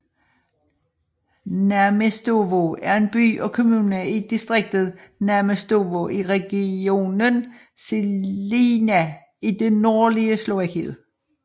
Námestovo er en by og kommune i distriktet Námestovo i regionen Žilina i det nordlige Slovakiet